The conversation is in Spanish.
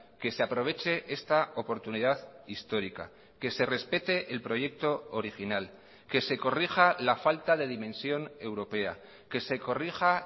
que se aproveche esta oportunidad histórica que se respete el proyecto original que se corrija la falta de dimensión europea que se corrija